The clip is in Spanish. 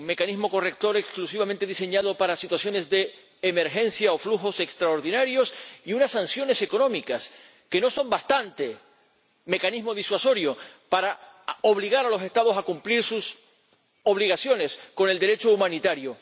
Un mecanismo corrector exclusivamente diseñado para situaciones de emergencia o flujos extraordinarios, y unas sanciones económicas que no son bastante mecanismo disuasorio para obligar a los Estados a cumplir sus obligaciones con el Derecho humanitario.